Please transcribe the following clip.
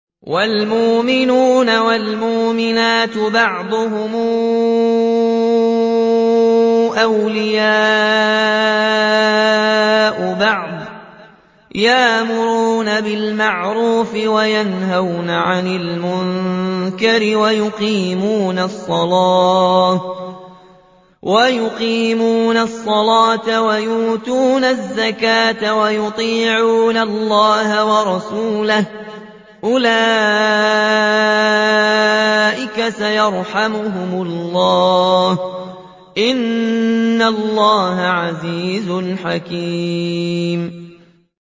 وَالْمُؤْمِنُونَ وَالْمُؤْمِنَاتُ بَعْضُهُمْ أَوْلِيَاءُ بَعْضٍ ۚ يَأْمُرُونَ بِالْمَعْرُوفِ وَيَنْهَوْنَ عَنِ الْمُنكَرِ وَيُقِيمُونَ الصَّلَاةَ وَيُؤْتُونَ الزَّكَاةَ وَيُطِيعُونَ اللَّهَ وَرَسُولَهُ ۚ أُولَٰئِكَ سَيَرْحَمُهُمُ اللَّهُ ۗ إِنَّ اللَّهَ عَزِيزٌ حَكِيمٌ